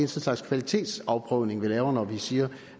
slags kvalitetsafprøvning vi laver når vi siger